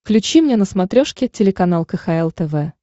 включи мне на смотрешке телеканал кхл тв